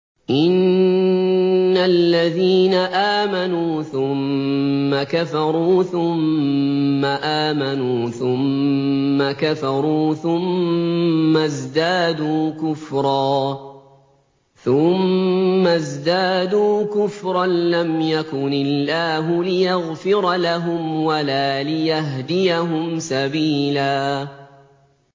إِنَّ الَّذِينَ آمَنُوا ثُمَّ كَفَرُوا ثُمَّ آمَنُوا ثُمَّ كَفَرُوا ثُمَّ ازْدَادُوا كُفْرًا لَّمْ يَكُنِ اللَّهُ لِيَغْفِرَ لَهُمْ وَلَا لِيَهْدِيَهُمْ سَبِيلًا